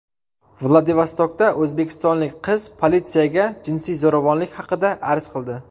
Vladivostokda o‘zbekistonlik qiz politsiyaga jinsiy zo‘ravonlik haqida arz qildi.